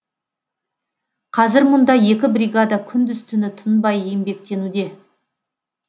қазір мұнда екі бригада күндіз түні тынбай еңбектенуде